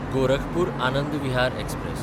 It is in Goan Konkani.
गोरखपूर–आनंद विहार एक्सप्रॅस